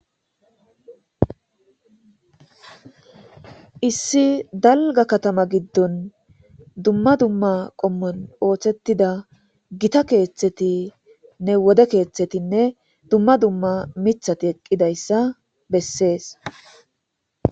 Issi dalgga katama giddon dumma dumma qommon oosetida gita keeththeti, wode keeththetinne dumma dumma mithati eqidayssa besses.